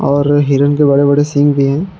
और हिरण के बड़े बड़े सिंग भी हैं।